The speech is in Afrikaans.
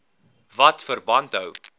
wat verband hou